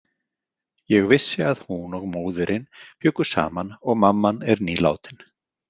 Ég vissi að hún og móðirin bjuggu saman og mamman er nýlátin.